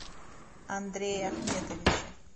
андрее ахметовиче